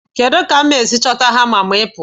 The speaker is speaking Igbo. Kedu ka m ga-esi chọta hama ma ị pụọ?